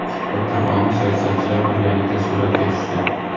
Suhbatdan oldin siyosatchilar birgalikda suratga tushdi.